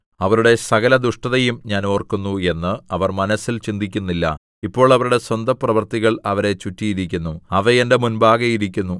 അവരുടെ സകല ദുഷ്ടതയും ഞാൻ ഓർക്കുന്നു എന്ന് അവർ മനസ്സിൽ ചിന്തിക്കുന്നില്ല ഇപ്പോൾ അവരുടെ സ്വന്തപ്രവൃത്തികൾ അവരെ ചുറ്റിയിരിക്കുന്നു അവ എന്റെ മുമ്പാകെ ഇരിക്കുന്നു